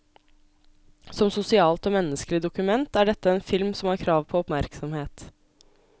Som sosialt og menneskelig dokument er dette en film som har krav på oppmerksomhet.